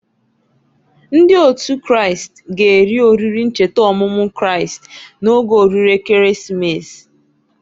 Ndị Otu Kristi g'eri oriri ncheta ọmụmụ Kristi n'oge oriri Ekeresimesi.